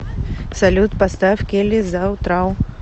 салют поставь келли заутрау